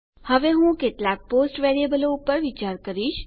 હવે હું કેટલાક પોસ્ટ વેરીએબલો પર વિચાર કરીશ